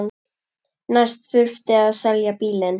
Næst þurfti að selja bílinn.